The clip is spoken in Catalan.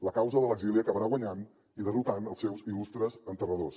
la causa de l’exili acabarà guanyant i derrotant els seus il·lustres enterradors